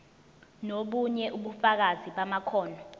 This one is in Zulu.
nobunye ubufakazi bamakhono